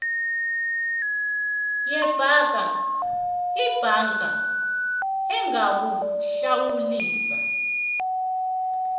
yebhanka ibhanka ingakuhlawulisa